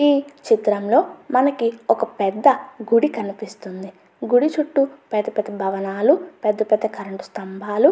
ఈ చిత్రంలో మనకి ఒక పెద్ద గుడి కనిపిస్తుంది. గుడి చుట్టూ పెద్ద పెద్ద భవనాలు పెద్ద పెద్ద కరెంటు స్తంభాలు--